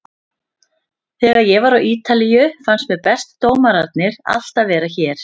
Þegar ég var á Ítalíu fannst mér bestu dómararnir alltaf vera hér.